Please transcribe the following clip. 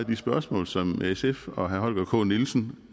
de spørgsmål som sf og herre holger k nielsen